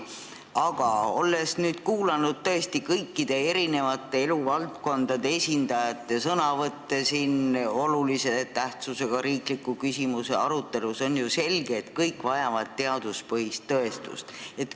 Aga olles nüüd kuulanud eri eluvaldkondade esindajate sõnavõtte olulise tähtsusega riikliku küsimuse arutelus, on ju selge, et kõik vajavad teaduspõhist tõestust.